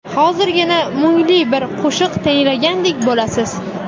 Hozirgina mungli bir qo‘shiq tinglagandek bo‘lasiz.